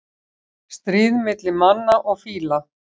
Stríð milli manna og fíla